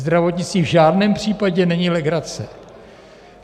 Zdravotnictví v žádném případě není legrace.